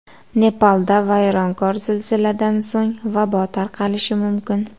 Nepalda vayronkor zilziladan so‘ng vabo tarqalishi mumkin.